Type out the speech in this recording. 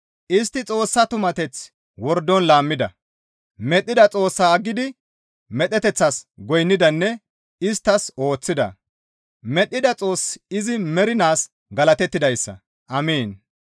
Istti Xoossa tumateth wordon laammida; medhdhida Xoossaa aggidi medheteththas goynnidanne isttas ooththida; medhdhida Xoossi izi mernaas galatettidayssa. Amiin.